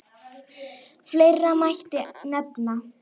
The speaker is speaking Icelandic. Fleira mætti nefna.